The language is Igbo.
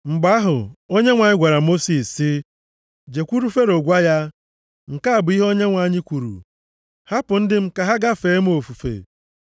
Mgbe ahụ, Onyenwe anyị gwara Mosis sị, “Jekwuru Fero gwa ya, ‘Nke a bụ ihe Onyenwe anyị kwuru. Hapụ ndị m, ka ha gaa fee m ofufe.